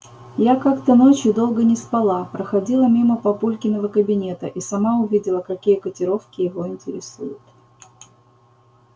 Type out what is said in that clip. я как-то ночью долго не спала проходила мимо папулькиного кабинета и сама увидела какие котировки его интересуют